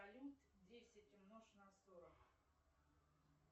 салют десять умножь на сорок